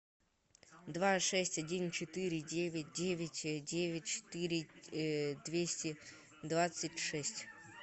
два шесть один четыре девять девять девять четыре двести двадцать шесть